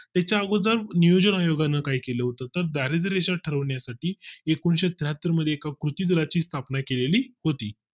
त्याच्या अगोदर नियोजन आयोगाने काय केलं होतं तर दारिद्य rashan ठरवण्यासाठी एकोणीशे त्र्याहत्तर मध्ये एका कृती दला ची स्थापना केली होती